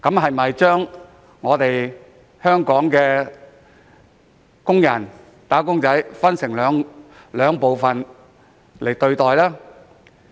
為何將香港的"打工仔"分為兩類並享有不同待遇呢？